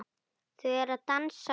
Þau eru að dansa